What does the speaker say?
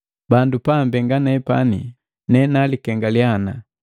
Bandu paambenga nepani, ne nalikengaliya ana: